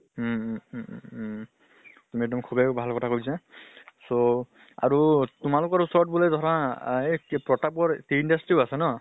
হু হু উম উম উ তুমি এক্দম সুভে ভাল কৰা কথা কৈছা, so আৰু তোমালোকৰ ওচৰত বুলে ধৰা আহ এই কি প্ৰতাপৰ tea industry ও আছে ন?